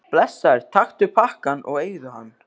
Blessaður, taktu pakkann og eigðu hann.